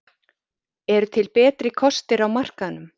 Eru til betri kostir á markaðnum?